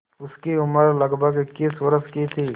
उसकी उम्र लगभग इक्कीस वर्ष की थी